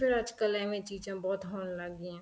ਅੱਜਕਲ ਐਵੇ ਚੀਜ਼ਾਂ ਬਹੁਤ ਹੋਣ ਲੱਗ ਗਈਆਂ